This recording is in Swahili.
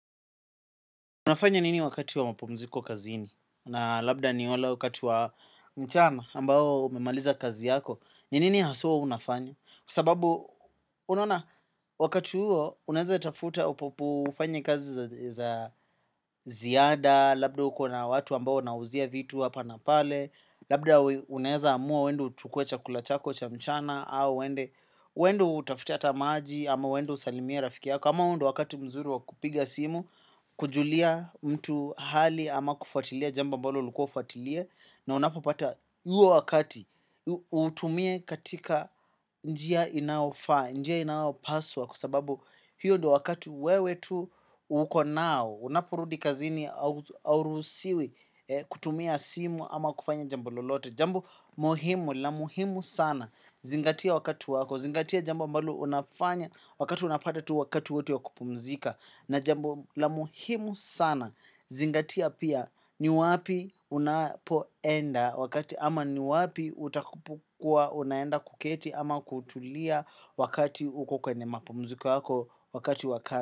Unafanya nini wakati wa mapumziko kazini na labda ni ole wakati wa mchana ambao umemaliza kazi yako. Ni nini haswa ua unafanya kwa sababu unaona wakati uo unaeze tafuta upopu ufanye kazi za ziada labda uko na watu ambao unawauzia vitu hapa na pale. Labda unaeze amua uende uchukue chakula chako cha mchana au uende uende utafute ata maji ama uendu usalimie rafiki yako. Kama huu ndo wakati mzuri wa kupiga simu, kujulia mtu hali ama kufuatilia, jambo ambalo ulikua ufuatilie, na unapopata uo wakati uutumie katika njia inaofaa, njia inaopaswa, kwa sababu hiyo dio wakati wewe tu uko nao, unaporudi kazini aurusiwi kutumia simu ama kufanya jambo lolote. Jambo muhimu la muhimu sana, zingatia wakati wako, zingatia jambo ambalo unafanya, wakati unapata tu wakati wowote wa kupumzika na jambo la muhimu sana zingatia pia ni wapi unapoenda wakati ama ni wapi utakapo kuwa unaenda kuketi ama kutulia wakati uko kwenye mapumziko yako wakati wakati.